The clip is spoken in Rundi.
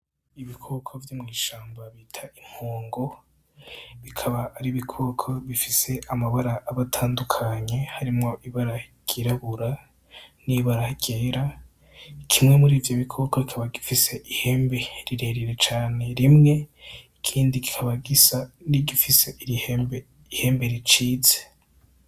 Ibikoko vyo mwishamba bita impongo bikaba ari ibikoko bifise amabara aba atandukanye harimwo ibara ryirabura hamwe nibara ryera kimwe murivyo bikoko kikaba gifise ihembe rirerire cane rimwe ikindi kikaba gisa nigifise ihembe ricitse.